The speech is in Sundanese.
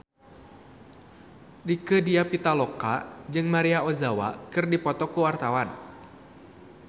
Rieke Diah Pitaloka jeung Maria Ozawa keur dipoto ku wartawan